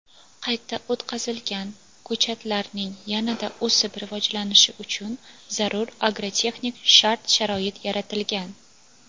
qayta o‘tqazilgan ko‘chatlarning yanada o‘sib rivojlanishi uchun zarur agrotexnik shart-sharoit yaratilgan.